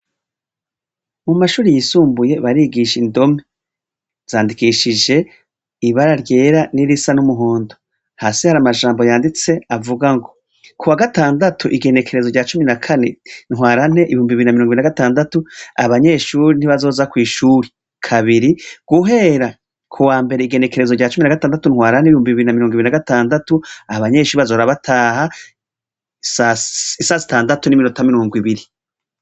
Mu mashuri yisumbuye barigisha indomi zandikishije ibara ryera n'irisa n'umuhondo hasi hari amajambo yanditse avuga ngo ku wa gatandatu igenekerezo rya cumi na kane ntwarante ibumbi bina mirungo bi na gatandatu abanyeshuri ntibazoza kw'ishuri kabiri guhera u wa mbere igerekerezo rya cumi na gatandatu ntwara n'ibiyumbu bibiri na mirungo ibiri na gatandatu aha banyenshi bazora bataha isa sitandatu n'iminota mirungo ibiri.